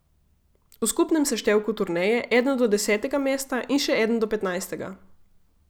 V skupnem seštevku turneje eden do desetega mesta in še eden do petnajstega.